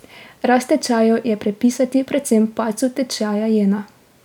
Rast tečajev je pripisati predvsem padcu tečaja jena.